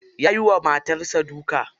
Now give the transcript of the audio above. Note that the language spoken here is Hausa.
Ya yiwa matar sa duka.